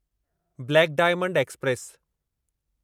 black diamond express